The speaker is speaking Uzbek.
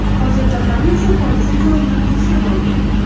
Hozirda politsiya hodisa joyini qurshab oldi.